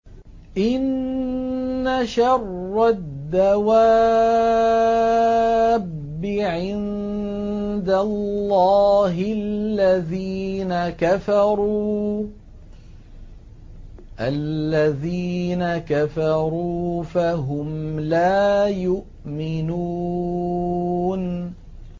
إِنَّ شَرَّ الدَّوَابِّ عِندَ اللَّهِ الَّذِينَ كَفَرُوا فَهُمْ لَا يُؤْمِنُونَ